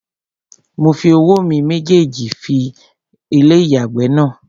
Mo fi owó mi méjèjì fọ ilé-ìyàgbẹ̀ náà